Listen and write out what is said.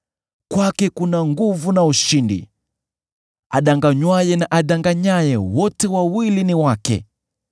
Kwake kuna nguvu na ushindi; adanganywaye na adanganyaye, wote wawili ni wake.